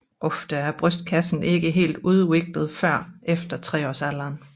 Ofte er brystkassen ikke helt udviklet før efter treårsalderen